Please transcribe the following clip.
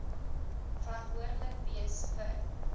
verantwoordelik wees vir